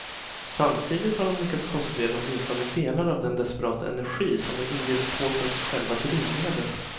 Samtidigt har de lyckats konservera åtminstone delar av den desperata energi som var indiepopens själva drivmedel.